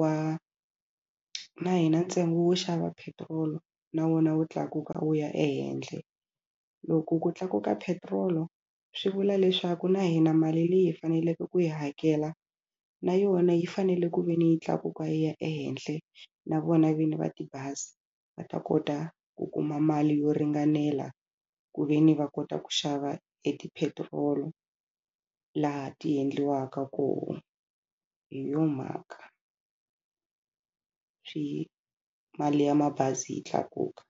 wa na hina ntsengo wo xava petrol na wona wu tlakuka wu ya ehenhla. Loko ku tlakuka petrol swi vula leswaku na hina mali leyi hi faneleke ku yi hakela na yona yi fanele ku ve ni yi tlakuka yi ya ehenhla na vona vini va tibazi va ta kota ku kuma mali yo ringanela ku ve ni va kota ku xava etipetirolo laha ti endliwaka kona hi yo mhaka swi mali ya mabazi yi tlakuka.